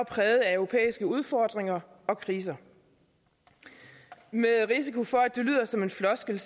præget af europæiske udfordringer og kriser med risiko for at det lyder som en floskel